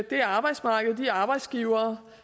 det arbejdsmarked og de arbejdsgivere